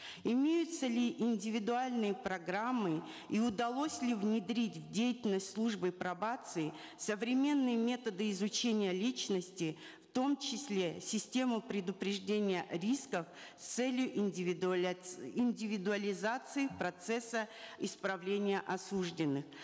имеются ли индивидуальные программы и удалось ли внедрить в деятельность службы пробации современные методы изучения личности в том числе систему предупреждения рисков с целью индивидуализации процесса исправления осужденных